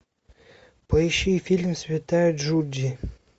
поищи фильм святая джуди